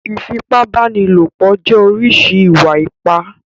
Ìfipábánilòpọ̀ jẹ́ oríṣi Ììwà-ipá.